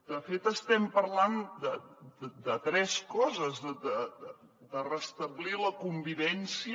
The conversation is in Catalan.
de fet estem parlant de tres coses de restablir la convivència